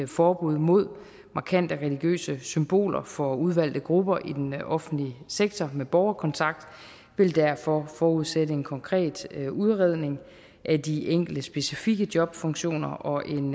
forbud mod markante religiøse symboler for udvalgte grupper i den offentlige sektor med borgerkontakt vil derfor forudsætte en konkret udredning af de enkelte specifikke jobfunktioner og en